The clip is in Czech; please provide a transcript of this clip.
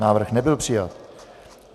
Návrh nebyl přijat.